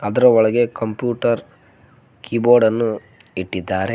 ಅದರ ಒಳಗೆ computer keyboard ಅನ್ನು ಇಟ್ಟಿದ್ದಾರೆ.